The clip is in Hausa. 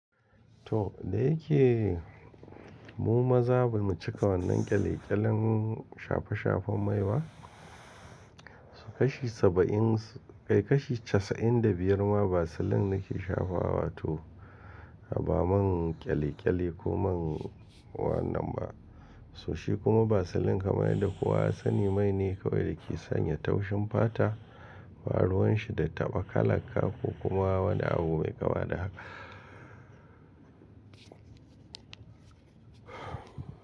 To, da yake mu maza ba mu cika wannan ƙyale-ƙyalen shafe-shafen mai ba, su kashi saba'in, kai kashi casa'in da biyar ma basilan da ke shafawa to ba man ƙyale-ƙyale ko man wannan ba, so shi kuma basilan kamar da kuwa sani mai ne kawai da ke sanya taushin fata, Ba ruwan shi da taɓa kala kako kuma wani abu mai kama da haka.